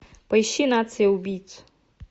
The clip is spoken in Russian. поищи нация убийц